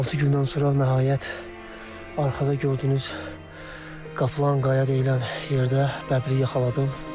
Hansı gündən sonra nəhayət arxada gördüyünüz Qaplanqaya deyilən yerdə bəbiri yaxaladım.